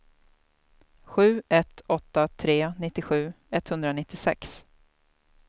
sju ett åtta tre nittiosju etthundranittiosex